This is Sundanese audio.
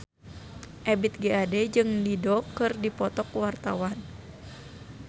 Ebith G. Ade jeung Dido keur dipoto ku wartawan